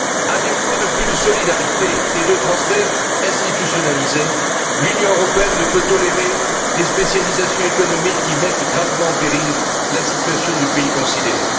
À défaut de plus de solidarité et de transfert institutionnalisé, l'Union européenne ne peut tolérer des spécialisations économiques qui mettent gravement en péril la situation du pays considéré.